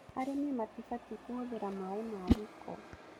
Arĩmi matibatiĩ kũhũthĩra maaĩ ma gĩko